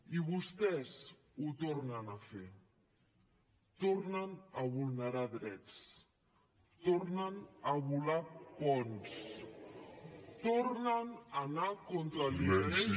i vostès ho tornen a fer tornen a vulnerar drets tornen a volar ponts tornen a anar contra l’interès